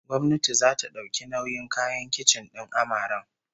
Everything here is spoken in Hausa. Gwamnati zata dauki nauyin kayan kicin din amaren